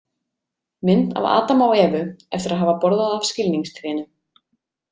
Mynd af Adam og Evu eftir að hafa borðað af skilningstrénu.